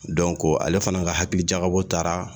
Dɔnko ale fana ka hakilijakabɔ taara